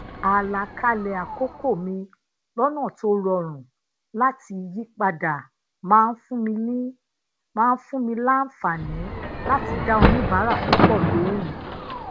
alakale akoko mi lona to rorun lati yipada máa ń fun mi làǹfààní lati da oníbàárà pupo lohun